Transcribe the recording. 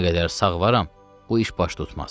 Nə qədər sağ varam, bu iş baş tutmaz.